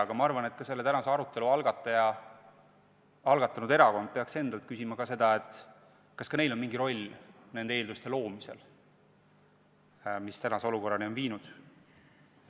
–, aga ma arvan, et ka selle tänase arutelu algatanud erakond peaks endalt küsima, kas ka neil on mingi roll nende eelduste loomisel, mis on praeguse olukorrani viinud.